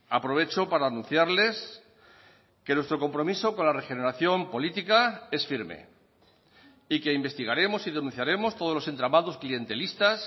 aprovecho para anunciarles que nuestro compromiso con la regeneración política es firme y que investigaremos y denunciaremos todos los entramados clientelistas